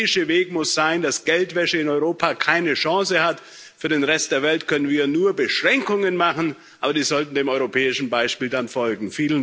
Der europäische Weg muss sein, dass Geldwäsche in Europa keine Chance hat. Für den Rest der Welt können wir nur Beschränkungen machen, aber die sollten dann dem europäischen Beispiel folgen.